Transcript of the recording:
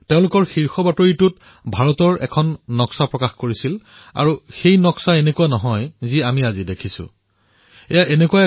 তেওঁলোকৰ প্ৰধান খবৰত ভাৰতৰ এখন নক্সা তেওঁলোকে প্ৰকাশ কৰিছিল আৰু সেই নক্সা আজি আমি যেনে দেখোঁ তেনে নাছিল